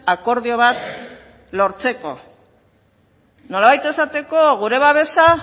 akordio bat lortzeko nolabait esateko gure babesa